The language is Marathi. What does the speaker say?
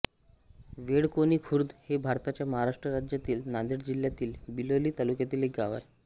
बेळकोणी खुर्द हे भारताच्या महाराष्ट्र राज्यातील नांदेड जिल्ह्यातील बिलोली तालुक्यातील एक गाव आहे